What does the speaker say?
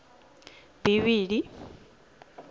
bivhili